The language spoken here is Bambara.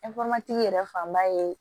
yɛrɛ fanba ye